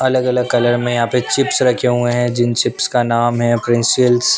अलग अलग कलर में यहाँ पे चिप्स रखे हुए हैं जिन चिप्स का नाम है प्रिंसिल्स --